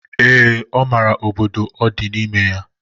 Ee, ọ mara obodo ọ di n'ime ya.